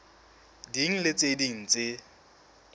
ding le tse ding tse